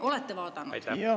Olete vaadanud?